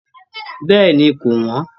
Bẹ́ẹ̀ni ko wọn.